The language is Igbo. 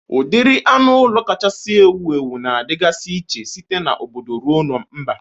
Udiri anụ ụlọ kacha ewu ewu na-adịgasị iche site na obodo ruo na mba.